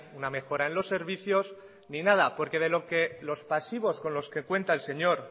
una mejora en los servicios ni nada porque de lo que los pasivos con los que cuenta el señor